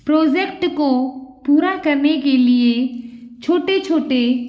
project को पूरा करने के लिए छोटे-छोटे --